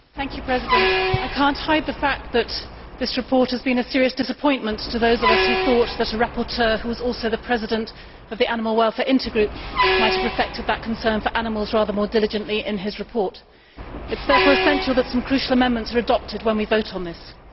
Mr President, I cannot hide the fact that this report has been a serious disappointment to those of us who thought that a rapporteur who was also the president of the animal welfare intergroup might have reflected that concern for animals rather more diligently in his report. It is therefore essential that some crucial amendments are adopted when we vote on this.